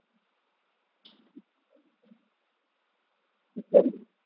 বুঝতে পেরেছিস?